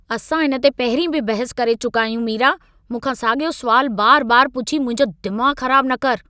असां इन ते पहिरीं बि बहस करे चुका आहियूं, मीरा! मूंखां साॻियो सुवालु बारु- बारु पुछी मुंहिंजो दिमाग़ ख़राब न कर।